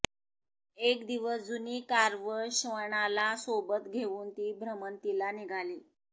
एक दिवस जुनी कार व श्वानाला सोबत घेऊन ती भ्रमंतीला निघाली